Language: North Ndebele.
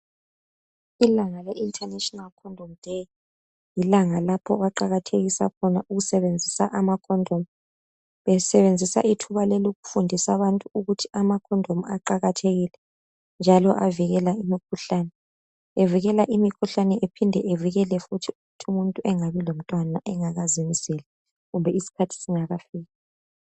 Ilanga le International condom day lilanga lapho abaqakathekisa ukusebenzisa ama khondomu, besebenzisa ithuba leli ukufundisa abantu ukuthi amakhondomu aqathekile njalo avikela imikhuhlane. Evikela imikhuhlane ephinde evikele futhi ukuthi umuntu angabi lomntwana angakazenzeli kumbe isikhathi singakafiki.